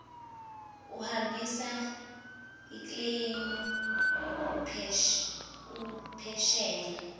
uhambisa ikleymu uphesheya